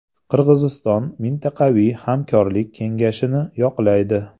Qirg‘iziston mintaqaviy hamkorlik kengayishini yoqlaydi.